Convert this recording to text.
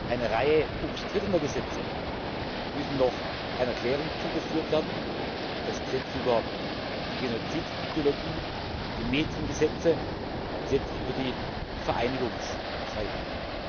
Eine Reihe umstrittener Gesetze müssen noch einer Klärung zugeführt werden das Gesetz über die Genozid Ideologie, die Mediengesetze und die Gesetze über die Vereinigungsfreiheit.